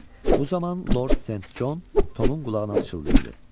Bu zaman Lord Sent Con Tomun qulağına pıçıldayırdı.